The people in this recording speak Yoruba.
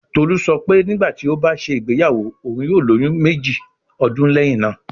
Tolu sọ pe nigbati o ba ṣe igbeyawo, oun yoo loyun 2 ọdun lẹhin naa